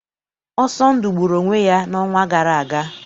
Ọsọndụ gburu onwe ya n'ọnwa gara aga.